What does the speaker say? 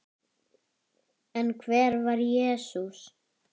En hver var Jesús?